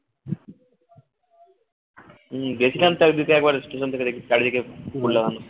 হুম গেছিলাম তো একদিকে একবার station থেকে চারিদিকে ফুল লাগানো